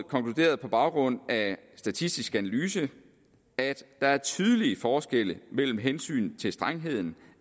konkluderede på baggrund af statistisk analyse at der er tydelige forskelle mellem hensynet til strengheden